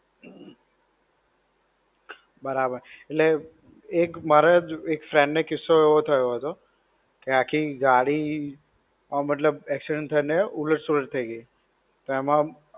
બરાબર. એટલે, એક મારા જ એક friend ને કિસ્સો એવો થયો હતો, કે આખી ગાડી, હા મતલબ accident થઇ ને ઉલટ સુલાત થઇ ગઈ, તો એમાં